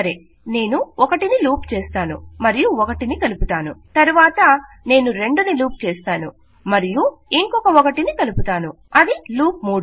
సరే నేను 1 ని లూప్ చేస్తాను మరియు 1 ని కలుపుతాను తరువాత నేను 2 ని లూప్ చేస్తాను మరియు ఇంకొక 1 ని కలుపుతాను అది లూప్ 3